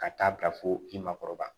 Ka taa bila fo i ma kɔrɔbaya